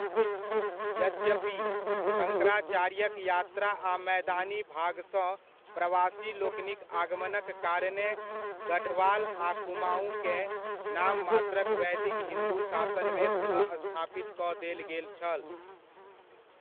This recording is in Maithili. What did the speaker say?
यद्यपि, शङ्कराचार्यक यात्रा आ मैदानी भागसँ प्रवासीलोकनिक आगमनक कारणेँ गढ़वाल आ कुमाऊँकेँ नाममात्रक वैदिक हिन्दू शासनमे पुनःस्थापित कऽ देल गेल छल।